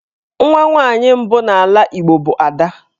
Nwa nwaanyị mbụ n'ala Igbo bụ 'Ada'.